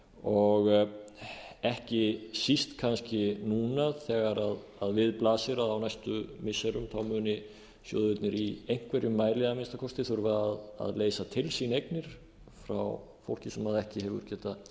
og ekki síst kannski núna þegar við blasir að á næstu missirum munu sjóðirnir í einhverjum mæli að minnsta kosti þurfa að leysa til sín eignir frá fólki sem ekki hefur getað